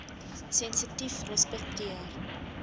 sensitiefrespekteer